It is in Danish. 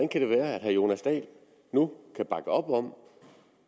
kan det være at herre jonas dahl nu kan bakke op om